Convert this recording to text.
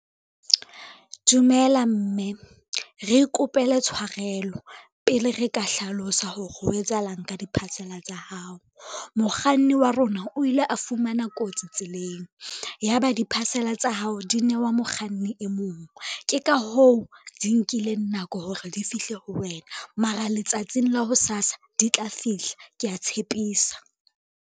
Dumela mme, re ikopele tshwarelo pele re ka hlalosa hore ho etsahalang ka di-parcel-a tsa hao. Mokganni wa rona o ile a fumana kotsi, ya ba di-parcel-a tsa hao di newa mokganni e mong, ke ka hoo di nkileng nako hore di fihle ho wena mara letsatsing la hosasa di tla fihla, kea tshepisa.